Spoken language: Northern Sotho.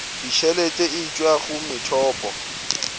ditšhelete e tšwa go methopo